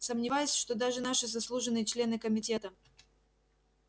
сомневаюсь что даже наши заслуженные члены комитета